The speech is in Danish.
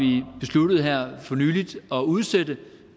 besluttet her for nylig at udsætte